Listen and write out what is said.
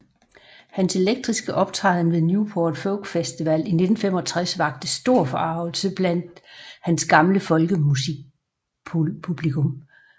Hans elektriske optræden ved Newport Folk Festival i 1965 vakte stor forargelse blandt hans gamle folkemusikpublikum